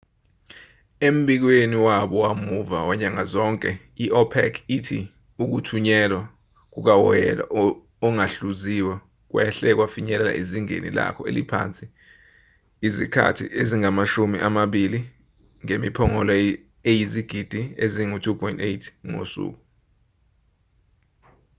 embikweni wabo wamuva wanyanga zonke i-opec ithi ukuthunyelwa kukawoyela ongahluziwe kwehle kwafinyelela ezingeni lako eliphansi izikhathi ezingamashumi amabili ngemiphongolo eyizigidi ezingu-2.8 ngosuku